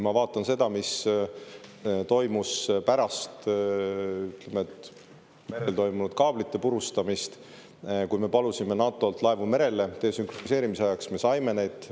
Vaatame seda, mis toimus pärast merekaablite purustamist, kui me palusime NATO-lt laevu merele desünkroniseerimise ajaks: me saime neid.